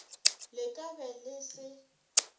le ka be le se